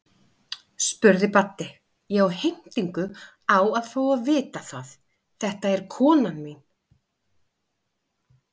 spurði Baddi, ég á heimtingu á að fá að vita það, þetta er konan mín.